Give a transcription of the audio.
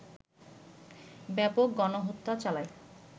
ব্যাপক গণহত্যা চালায়